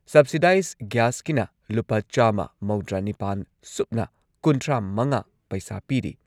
Subsidise ꯒ꯭ꯌꯥꯁꯀꯤꯅ ꯂꯨꯄꯥ ꯆꯥꯝꯃ ꯃꯧꯗ꯭ꯔꯥꯅꯤꯄꯥꯟ ꯁꯨꯞꯅ ꯀꯨꯟꯊ꯭ꯔꯥꯃꯉꯥ ꯄꯩꯁꯥ ꯄꯤꯔꯤ꯫